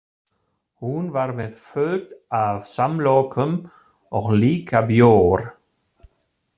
Hún var með fullt af samlokum og líka bjór.